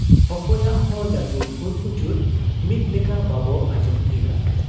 ᱚᱠᱚᱭᱟᱜ ᱦᱚ ᱞᱟᱹᱴᱩ ᱠᱩᱲᱠᱩᱪᱩᱫ ᱢᱤᱫ ᱞᱮᱠᱟ ᱵᱟᱵᱚ ᱟᱸᱡᱚᱢ ᱛᱷᱤᱨᱟ ᱾